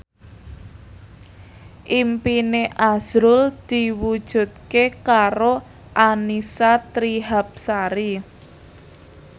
impine azrul diwujudke karo Annisa Trihapsari